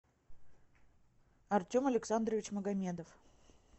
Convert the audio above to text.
артем александрович магомедов